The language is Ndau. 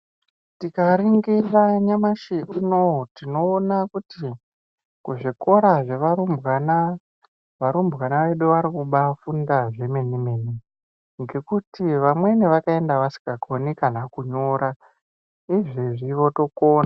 Tinganingira nyamashi zvinou tinoona kuti kuzvikora zvevarumbwana, varumbwana vedu vari kubaafunda zvemene mene ngekuti vamweni vakaenda vasingakoni kana kunyora, izvezvi votokona.